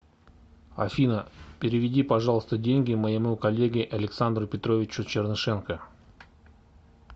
афина переведи пожалуйста деньги моему коллеге александру петровичу чернышенко